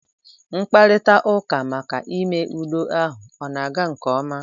Mkparita ụka maka ime udo ahụ ọ na-aga nke ọma?